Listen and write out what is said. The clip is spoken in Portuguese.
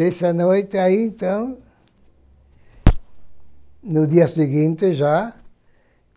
Dessa noite, aí, então, no dia seguinte, já